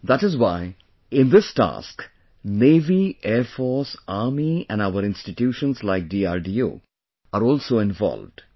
That is why, in this task Navy , Air Force, Army and our institutions like DRDO are also involved